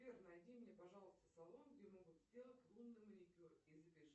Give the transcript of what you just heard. сбер найди мне пожалуйста салон где могут сделать лунный маникюр и запиши